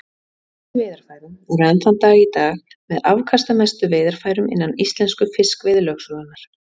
Þessi veiðarfæri eru enn þann dag í dag með afkastamestu veiðarfærum innan íslensku fiskveiðilögsögunnar.